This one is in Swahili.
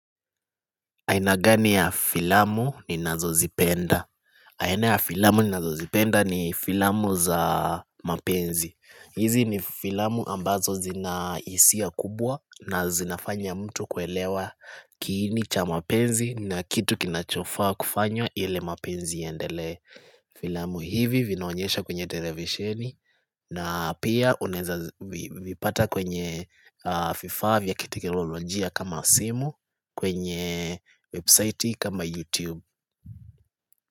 Aina gani ya filamu ninazozipenda aina ya filamu ninazozipenda ni filamu za mapenzi. Hizi ni filamu ambazo zina hisia kubwa na zinafanya mtu kuelewa kiini cha mapenzi na kitu kinachofaa kufanywa ili mapenzi yaendelee Filamu hivi vinaonyesha kwenye televisheni na pia unaeza vipata kwenye vifaa vya kiteknolojia kama simu kwenye website kama YouTube.